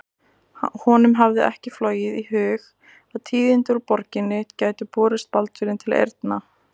Honum hafði ekki flogið í hug að tíðindi úr borginni gætu borist Baldvini til eyrna.